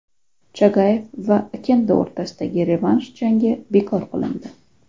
Chagayev va Okendo o‘rtasidagi revansh jangi bekor qilindi.